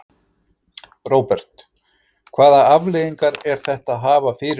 Róbert: Hvaða afleiðingar er þetta að hafa fyrir ykkur?